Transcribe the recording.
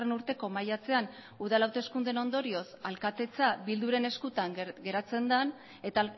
urteko maiatzean udal hauteskundeen ondorioz alkatetza bilduren eskutan geratzen den